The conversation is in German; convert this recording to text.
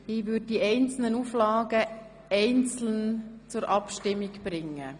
Ich werde die Auflagen einzeln zur Abstimmung bringen.